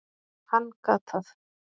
Hann gat það.